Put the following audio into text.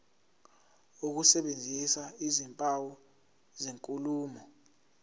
ukusebenzisa izimpawu zenkulumo